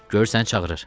Görsən çağırır.